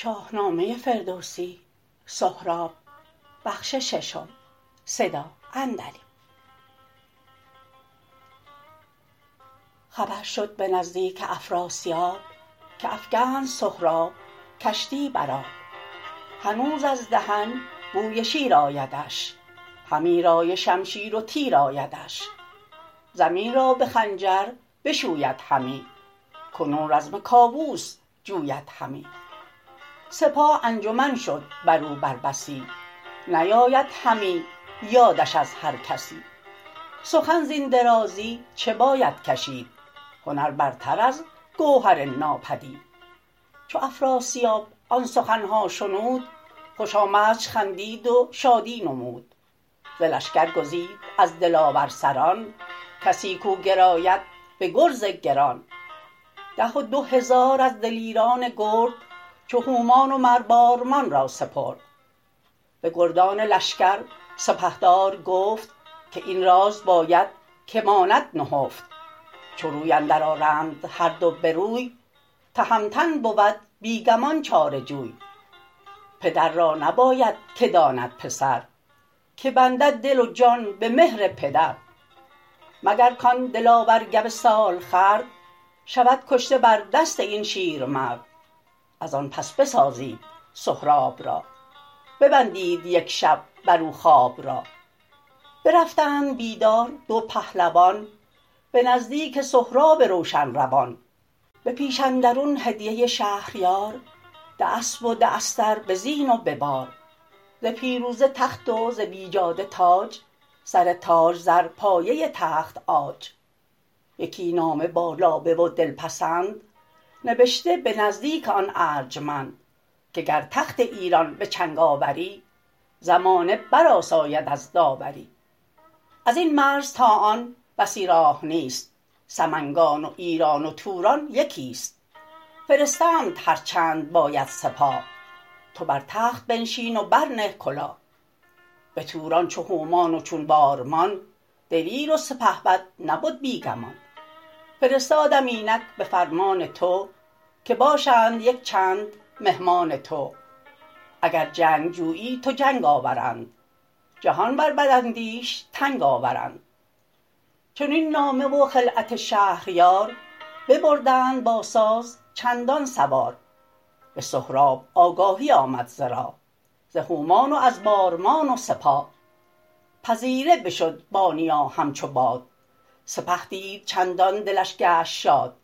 خبر شد به نزدیک افراسیاب که افگند سهراب کشتی بر آب هنوز از دهن بوی شیر آیدش همی رای شمشیر و تیر آیدش زمین را به خنجر بشوید همی کنون رزم کاووس جوید همی سپاه انجمن شد برو بر بسی نیاید همی یادش از هر کسی سخن زین درازی چه باید کشید هنر برتر از گوهر آمد پدید چو افراسیاب آن سخنها شنود خوش آمدش خندید و شادی نمود ز لشکر گزید از دلاور سران کسی کاو گراید به گرز گران ده و دو هزار از دلیران گرد چو هومان و مر بارمان را سپرد به گردان لشکر سپهدار گفت که این راز باید که ماند نهفت چو روی اندر آرند هر دو بروی تهمتن بود بی گمان چاره جوی پدر را نباید که داند پسر که بندد دل و جان به مهر پدر مگر کان دلاور گو سالخورد شود کشته بر دست این شیرمرد ازان پس بسازید سهراب را ببندید یک شب برو خواب را برفتند بیدار دو پهلوان به نزدیک سهراب روشن روان به پیش اندرون هدیه شهریار ده اسپ و ده استر به زین و به بار ز پیروزه تخت و ز بیجاده تاج سر تاج زر پایه تخت عاج یکی نامه با لابه و دلپسند نبشته به نزدیک آن ارجمند که گر تخت ایران به چنگ آوری زمانه برآساید از داوری ازین مرز تا آن بسی راه نیست سمنگان و ایران و توران یکی ست فرستمت هرچند باید سپاه تو بر تخت بنشین و برنه کلاه به توران چو هومان و چون بارمان دلیر و سپهبد نبد بی گمان فرستادم اینک به فرمان تو که باشند یک چند مهمان تو اگر جنگ جویی تو جنگ آورند جهان بر بداندیش تنگ آورند چنین نامه و خلعت شهریار ببردند با ساز چندان سوار به سهراب آگاهی آمد ز راه ز هومان و از بارمان و سپاه پذیره بشد با نیا همچو باد سپه دید چندان دلش گشت شاد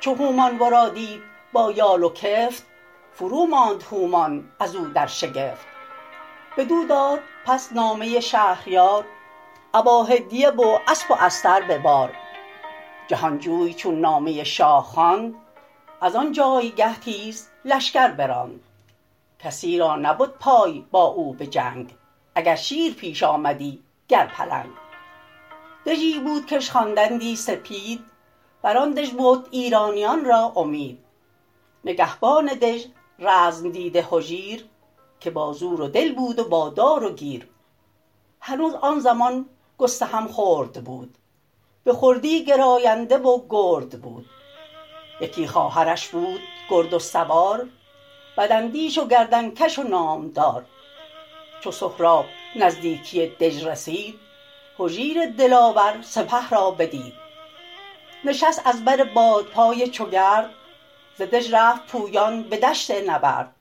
چو هومان ورا دید با یال و کفت فروماند هومان ازو در شگفت بدو داد پس نامه شهریار ابا هدیه و اسپ و استر به بار جهانجوی چون نامه شاه خواند ازان جایگه تیز لشکر براند کسی را نبد پای با او بجنگ اگر شیر پیش آمدی گر پلنگ دژی بود کش خواندندی سپید بران دژ بد ایرانیان را امید نگهبان دژ رزم دیده هجیر که با زور و دل بود و با دار و گیر هنوز آن زمان گستهم خرد بود به خردی گراینده و گرد بود یکی خواهرش بود گرد و سوار بداندیش و گردنکش و نامدار چو سهراب نزدیکی دژ رسید هجیر دلاور سپه را بدید نشست از بر بادپای چو گرد ز دژ رفت پویان به دشت نبرد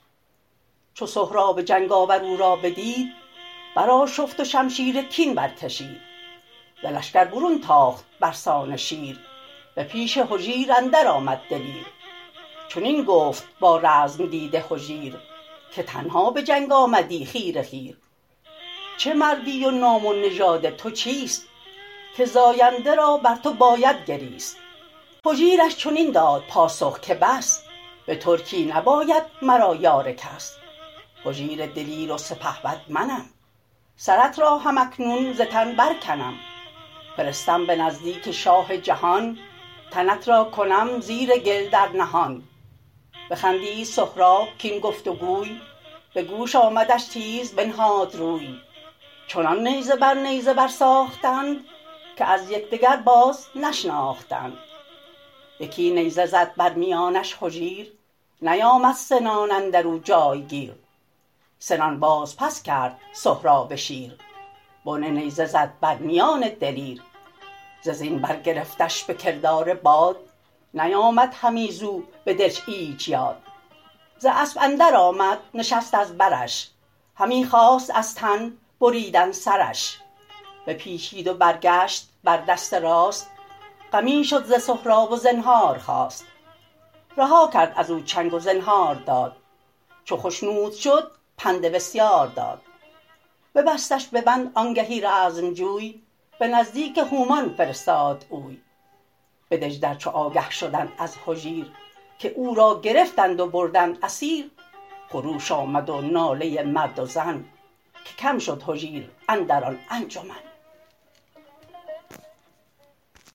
چو سهراب جنگ آور او را بدید برآشفت و شمشیر کین برکشید ز لشکر برون تاخت برسان شیر به پیش هجیر اندر آمد دلیر چنین گفت با رزم دیده هجیر که تنها به جنگ آمدی خیره خیر چه مردی و نام و نژاد تو چیست که زاینده را بر تو باید گریست هجیرش چنین داد پاسخ که بس به ترکی نباید مرا یار کس هجیر دلیر و سپهبد منم سرت را هم اکنون ز تن برکنم فرستم به نزدیک شاه جهان تنت را کنم زیر گل در نهان بخندید سهراب کاین گفت وگوی به گوش آمدش تیز بنهاد روی چنان نیزه بر نیزه برساختند که از یکدگر بازنشناختند یکی نیزه زد بر میانش هجیر نیامد سنان اندرو جایگیر سنان باز پس کرد سهراب شیر بن نیزه زد بر میان دلیر ز زین برگرفتش به کردار باد نیامد همی زو بدلش ایچ یاد ز اسپ اندر آمد نشست از برش همی خواست از تن بریدن سرش بپیچید و برگشت بر دست راست غمی شد ز سهراب و زنهار خواست رها کرد ازو چنگ و زنهار داد چو خشنود شد پند بسیار داد ببستش ببند آنگهی رزمجوی به نزدیک هومان فرستاد اوی به دژ در چو آگه شدند از هجیر که او را گرفتند و بردند اسیر خروش آمد و ناله مرد و زن که کم شد هجیر اندر آن انجمن